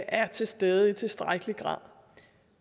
er til stede i tilstrækkelig grad